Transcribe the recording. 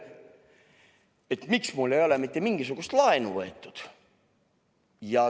Küsiti, et miks mul ei ole mitte mingisugust laenu võetud.